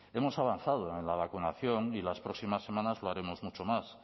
hemos avanzado en la vacunación y las próximas semanas lo haremos mucho más